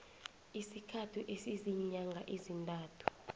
esikhathini esiziinyanga ezintathu